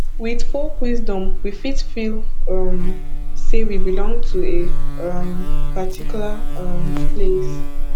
with folk wisdom we fit feel um say we belong to a um particular um place